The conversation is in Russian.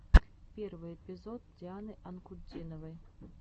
первый эпизод дианы анкудиновой